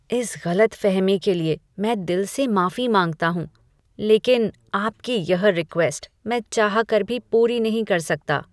इस गलतफहमी के लिए मैं दिल से माफी मांगता हूँ, लेकिन आपकी यह रिक्वेस्ट मैं चाहकर भी पूरी नहीं कर सकता।